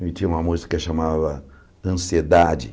E tinha uma música que se chamava Ansiedade.